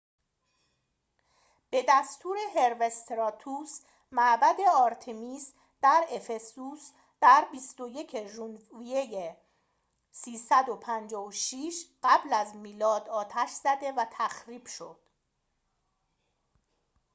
به دستور هروستراتوس معبد آرتمیس در افسوس در ۲۱ ژوئیه ۳۵۶ قبل از میلاد آتش زده و تخریب شد